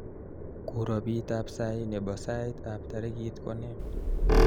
kuropitab sai nebo sait ab tarikit konee